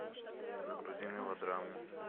загрузи мелодраму